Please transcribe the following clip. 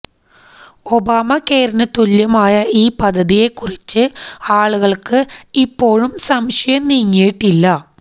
Obama കെയറിന് തുല്യമായ ഈ പദ്ധതിയെ കുറിച്ച് ആളുകൾക്ക് ഇപ്പോഴും സംശയം നീങ്ങിയിട്ടില്ല